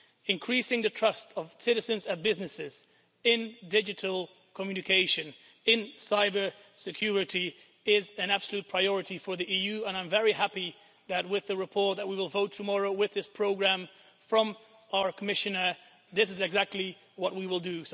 Increasing the trust of citizens and businesses in digital communication, in cybersecurity, is an absolute priority for the EU and I'm very happy that with the report that we will vote on tomorrow, with this programme from our Commissioner, this is exactly what we will do.